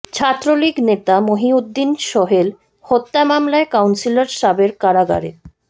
ছাত্রলীগ নেতা মহিউদ্দিন সোহেল হত্যা মামলায় কাউন্সিলর সাবের কারাগারে